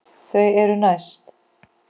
Þau eru næst.